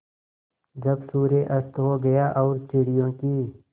जब सूर्य अस्त हो गया और चिड़ियों की